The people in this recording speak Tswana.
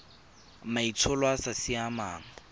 maitsholo a a sa siamang